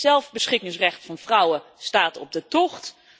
Het zelfbeschikkingsrecht van vrouwen staat op de tocht.